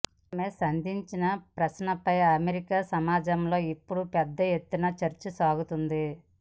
ఆమె సంధించిన ప్రశ్నపై అమెరికా సమాజంలో ఇప్పుడు పెద్ద ఎత్తున చర్చ సాగుతోంది